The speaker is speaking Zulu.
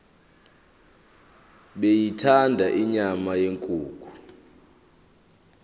beyithanda inyama yenkukhu